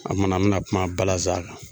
A kumana n bi na kuma balaza kan